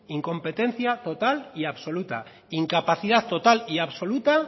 incompetencia total y absoluta incapacidad total y absoluta